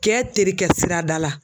Kɛ terikɛ sira da la.